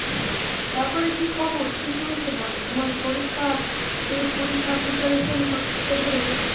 ভালো আছো, তারপরে কী খবর কী চলছে বলো? তোমার পরীক্ষা TET পরীক্ষা preparation কতদূর এগোলো বলো?